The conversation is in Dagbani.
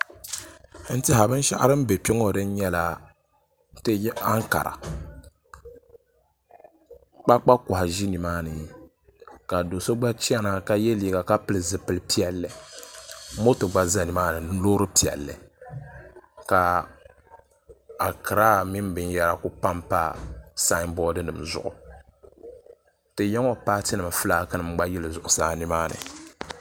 N tiɛhi binshaɣu din bɛ kpɛ ŋo din nyɛla ti ya ankara kpakpa kohi ʒi nimaani ka do so gba chɛna ka yɛ liiga ka pili zipili piɛlli moto gba ʒɛ nimaani ni loori piɛlli ka akiraa mini binyɛra ku panpa sanbood nim zuɣu ti yɛŋo paati nim fulaaki nim gba yili zuɣusaa nimaani